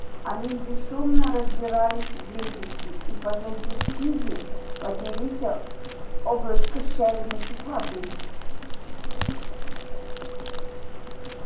они бесшумно разбирались вдребезги и позади спиди поднялися облачко щавельной кислоты